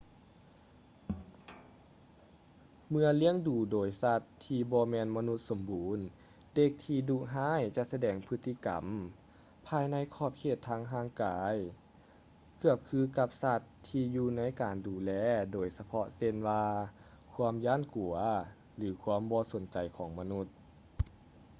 ເມື່ອລ້ຽງດູໂດຍສັດທີ່ບໍ່ແມ່ນມະນຸດສົມບູນ ເດັກທີ່ດຸຮ້າຍຈະສະແດງພຶດຕິກຳ ພາຍໃນຂອບເຂດທາງຮ່າງກາຍ ເກືອບຄືກັບສັດທີ່ຢູ່ໃນການດູແລໂດຍສະເພາະເຊັ່ນວ່າຄວາມຢ້ານກົວ ຫຼື ຄວາມບໍ່ສົນໃຈຂອງມະນຸດ